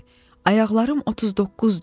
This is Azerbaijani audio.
Ayaqlarım 39-dur.